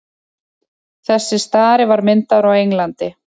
þessi stari var myndaður á englandi